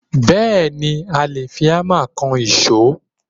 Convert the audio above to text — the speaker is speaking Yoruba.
Bẹẹni, i a le fi Hámà kan ìṣó.